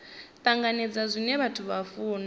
tanganedza zwine vhathu vha funa